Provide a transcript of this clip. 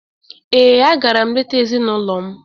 Ee, a gara m leta ezinụlọ m.